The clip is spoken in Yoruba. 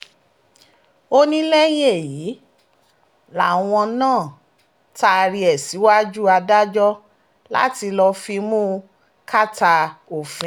ó ní lẹ́yìn èyí làwọn máa taari ẹ̀ síwájú adájọ́ láti lọ́ọ́ fimú kàtà òfin